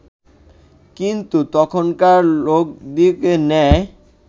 কিন্তু তখনকার লোকদিগের ন্যায়